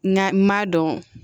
Na m'a dɔn